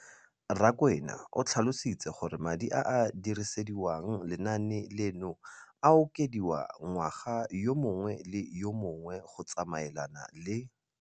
Rakwena o tlhalositse gore madi a a dirisediwang lenaane leno a okediwa ngwaga yo mongwe le yo mongwe go tsamaelana le